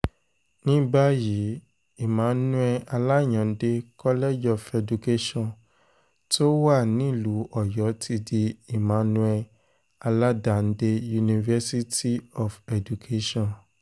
ní báyìí emmanuel alayande college of education tó wà wà nílùú ọ̀yọ́ ti di emmanuel aládàndé university of education